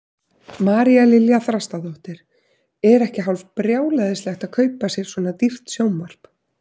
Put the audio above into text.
María Lilja Þrastardóttir: Er ekki hálf brjálæðislegt að kaupa sér svona dýrt sjónvarp?